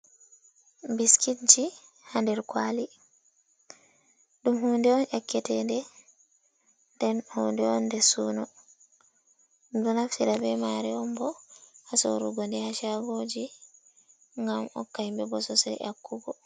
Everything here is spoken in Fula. "Biskitji" ha nder kwali ɗum hunde on yakkete nde, den hunde on nde suno ɗum ɗo naftira ɓe mare on bo ha sorugo ha shago ji nngam hokka himɓe bo sosel nyakkugo.